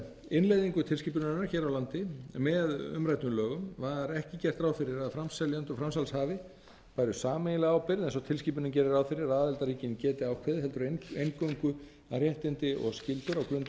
innleiðingu tilskipunarinnar hér á landi með umræddum lögum var ekki gert ráð fyrir að framseljendur og framsalshafi hafi sameiginlega ábyrgð eins og tilskipunin gerir ráð fyrir að aðildarríkin geti ákveðið heldur eingöngu að réttindi og skyldur á grundvelli ráðningarsamnings eða